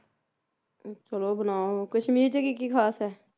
ਚਲੋ ਬਣਾਓ ਕਸ਼ਮੀਰ ਚ ਕੀ ਕੀ ਖਾਸ ਐ